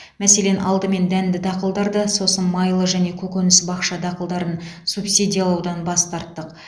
мәселен алдымен дәнді дақылдарды сосын майлы және көкөніс бақша дақылдарын субсидиялаудан бас тарттық